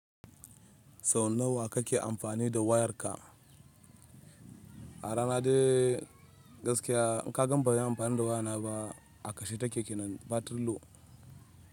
Sau nawa kake amfani da wayarka? A rana dai gaskiya in ka gan banyi amfani da wayana ba, a kashe take kenan battery low.